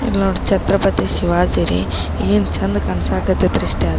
ಇಲ್ನೋಡಿ ಛತ್ರಪತಿ ಶಿವಾಜಿ ರೀ ಏನ್ ಚಂದ ಕಾಣಿಸಕ್ ಹತೈತ್ರಿ ಸ್ಟ್ --